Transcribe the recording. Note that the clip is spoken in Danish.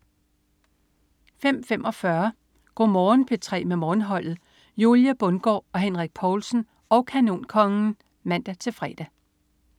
05.45 Go' Morgen P3 med Morgenholdet. Julie Bundgaard og Henrik Povlsen og Kanonkongen (man-fre)